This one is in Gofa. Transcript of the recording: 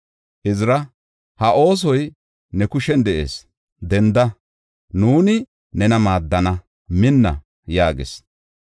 Izira ha oosoy ne kushen de7ees, denda; nuuni nena maaddana; minna!” yaagis.